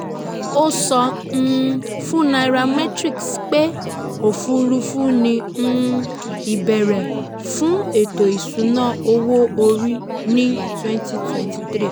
ó sọ um fún nairametrics pé òfurufú ni um ìbẹ̀rẹ̀ fún ètò ìṣúná owó-orí ní 2023.